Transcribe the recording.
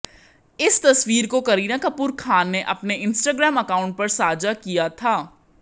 इस तस्वीर को करीना कपूर खान ने अपने इंस्टाग्राम अकाउंट पर साझा किया था